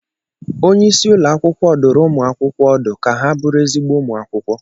Onye isi ụlọ akwụkwọ dụrụ ụmụ akwụkwọ ọdụ ka ha bụrụ ezigbo ụmụ akwụkwọ